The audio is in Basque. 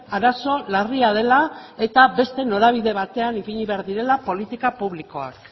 arazo larria dela eta beste norabide batean ipini behar direla politika publikoak